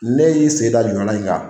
Ne y'i sen da jɔlan in kan